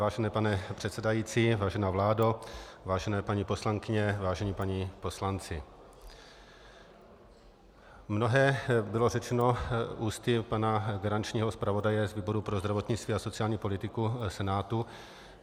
Vážený pane předsedající, vážená vládo, vážené paní poslankyně, vážení páni poslanci, mnohé bylo řečeno ústy pana garančního zpravodaje z výboru pro zdravotnictví a sociální politiku Senátu.